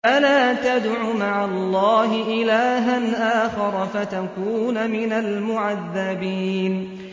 فَلَا تَدْعُ مَعَ اللَّهِ إِلَٰهًا آخَرَ فَتَكُونَ مِنَ الْمُعَذَّبِينَ